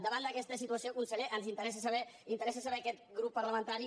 davant d’aquesta situació conseller ens interessa saber a aquest grup parlamentari